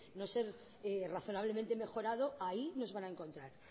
no ser razonablemente mejorado ahí nos van a encontrar